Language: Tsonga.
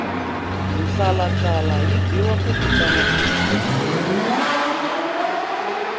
mhlalamhlala yi biwa ku vitana tiko